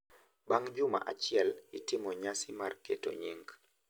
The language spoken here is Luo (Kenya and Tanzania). Bang’ juma achiel, itimo nyasi mar keto nying’.